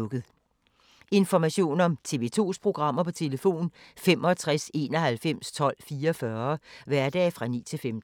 Information om TV 2's programmer: 65 91 12 44, hverdage 9-15.